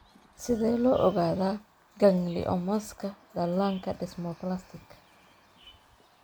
Sidee loo ogaadaa gangliomas-ka dhallaanka desmoplastic?